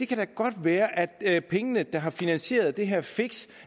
kan da godt være at pengene der har finansieret det her fix